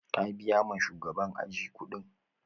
Ka biya ma shugaban aji kuɗin?